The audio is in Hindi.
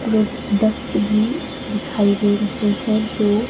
प्रोडक्ट भी दिखाई दे रहा हैं जो--